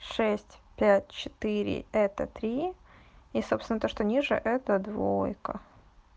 шесть пять четыре это три и собственно то что ниже это двойка